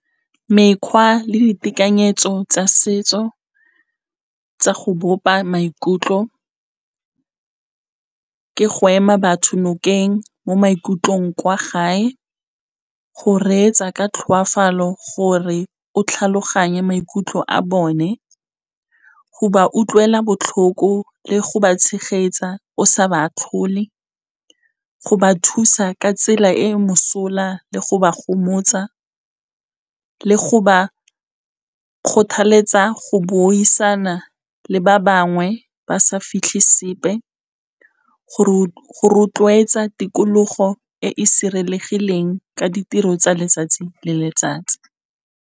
Mekgwa le ditekanyetso tsa setso tsa go bopa maikutlo, ke go ema batho nokeng mo maikutlong kwa gae, go reetsa ka tlhoafalo gore o tlhaloganye maikutlo a bone, go ba utlwela botlhoko le go ba tshegetsa o sa ba atlhole, go ba thusa ka tsela e e mosola le go ba gomotsa, le go ba kgothaletsa go buisana le ba bangwe ba sa fitlhe sepe, go rotloetsa tikologo e e sireletsegileng ka ditiro tsa letsatsi le letsatsi.